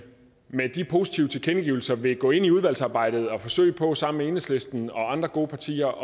med de positive tilkendegivelser vil gå ind i udvalgsarbejdet og forsøge på sammen med enhedslisten og andre gode partier